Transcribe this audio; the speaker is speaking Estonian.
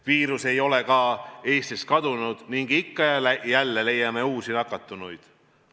Viirus ei ole ka Eestist kadunud ning ikka ja jälle leiame uusi nakatunuid.